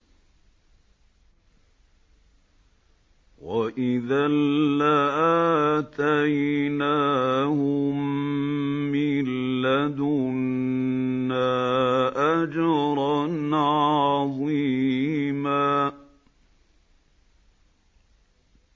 وَإِذًا لَّآتَيْنَاهُم مِّن لَّدُنَّا أَجْرًا عَظِيمًا